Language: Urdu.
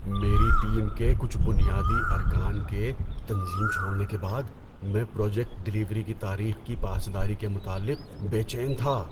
میری ٹیم کے کچھ بنیادی ارکان کے تنظیم چھوڑنے کے بعد، میں پروجیکٹ ڈلیوری کی تاریخ کی پاسداری کے متعلق بے چین تھا۔